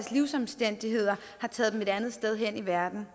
livsomstændigheder har taget dem et andet sted hen i verden